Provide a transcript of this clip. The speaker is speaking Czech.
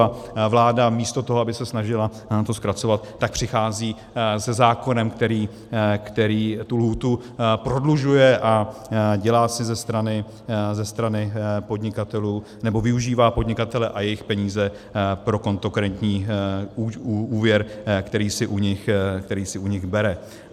A vláda místo toho, aby se snažila nám to zkracovat, tak přichází se zákonem, který tu lhůtu prodlužuje a dělá si ze strany podnikatelů, nebo využívá podnikatele a jejich peníze pro kontokorentní úvěr, který si u nich bere.